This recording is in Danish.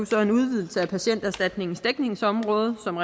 så en udvidelse af patienterstatningens dækningsområde som